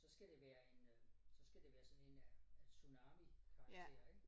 Så skal det være en øh så skal det være sådan en tsunami karakter ik